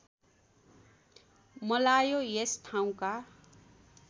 मलायो यस ठाउँका